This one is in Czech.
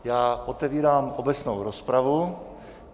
Já otevírám obecnou rozpravu.